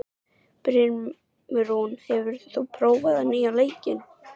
Brimrún, hefur þú prófað nýja leikinn?